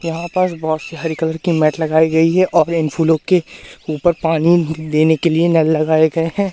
यहां पास बहोत सारी हरी कलर की मैट लगाई गई है और इन फूलों के ऊपर पानी देने के लिए नल लगाए गए हैं।